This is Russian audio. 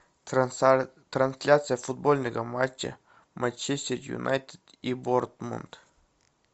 трансляция футбольного матча манчестер юнайтед и борнмут